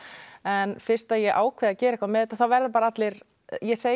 en fyrst ég ákvað að gera eitthvað með þetta þá verða bara allir ég segi